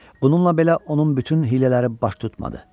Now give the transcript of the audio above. Bununla belə onun bütün hiylələri baş tutmadı.